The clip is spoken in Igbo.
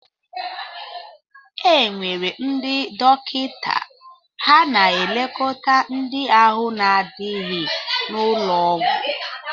Enwere ndị dọkịta, ha na-elekóta ndị ahụ na-adịghi n'ụlọọgwú.